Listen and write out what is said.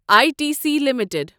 I T C limited